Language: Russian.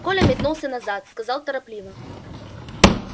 коля метнулся назад сказал торопливо